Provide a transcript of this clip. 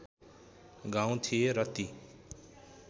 गाउँ थिए र ती